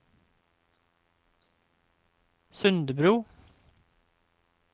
Sundebru